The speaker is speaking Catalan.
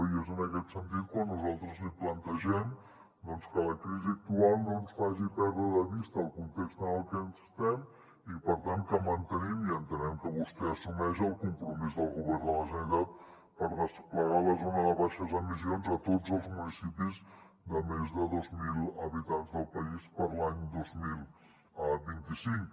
i és en aquest sentit quan nosaltres li plantegem doncs que la crisi actual no ens faci perdre de vista el context en el que estem i per tant que mantenim i entenem que vostè ho assumeix el compromís del govern de la generalitat per desplegar la zona de baixes emissions a tots els municipis de més de dos mil habitants del país per a l’any dos mil vint cinc